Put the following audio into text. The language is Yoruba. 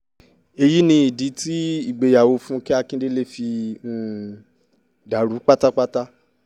èyí ni ìdí tí ìgbéyàwó fúnkẹ́ akíndélé fi um dàrú pátápátá